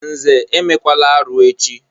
Nze, emela arụ echi!